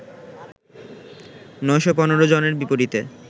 ৯১৫ জনের বিপরীতে